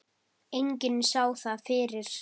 Enginn sá það fyrir.